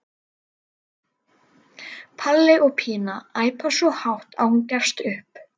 Palli og Pína æpa svo hátt að hún gefst upp.